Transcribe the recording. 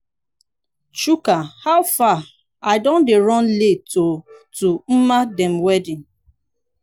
chuka howfar i don dey run late oo to mma dem wedding.